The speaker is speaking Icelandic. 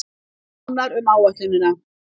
Nánar um áætlunina